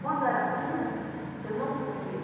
Quando era fundo, eu não podia.